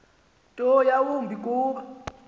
nto yawumbi kuba